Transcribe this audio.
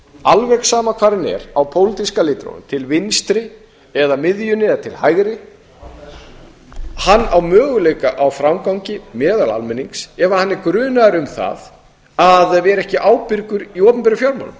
alveg sama hvar hann er á pólitíska litrófinu til vinstri eða miðjunni eða til hægri hann á möguleika á framgangi meðal almennings ef hann er grunaður um það að vera ekki ábyrgur í opinberum